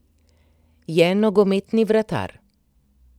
Je nogometni vratar.